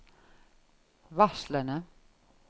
varslene